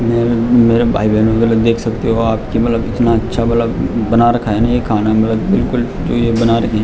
मेरे भाई बेहनो के लिए देख सकते हो आप मतलब की कितना अच्छा मतलब बना रखा है न ये खाना मतलब बिलकुल --